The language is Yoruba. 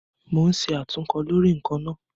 Mo ń ṣe àtúnkọ lórí ǹkan náà